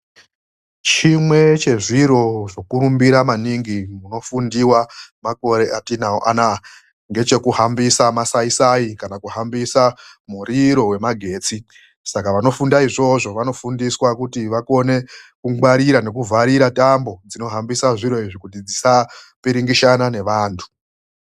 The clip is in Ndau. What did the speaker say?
Chimwe chezviro zvokurumbira maningi munofundiwa makore atinawo anaya ngechekuhambisa masaisai kana kuhambisa muriro wemagetsi. Saka vanofunda izvozvo vanofundiswa kuti vakone kungwarira nekuvharira tambo dzinohambisa zviro izvi kuti dzisapiringishana nevantu.